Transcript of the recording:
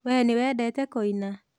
We nĩwendete kuina?